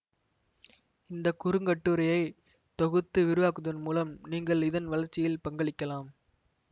இந்த குறுங்கட்டுரையை தொகுத்து விரிவாக்குவதன் மூலம் நீங்கள் இதன் வளர்ச்சியில் பங்களிக்கலாம்